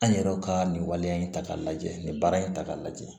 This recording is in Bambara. An yɛrɛw ka nin waleya in ta k'a lajɛ nin baara in ta k'a lajɛ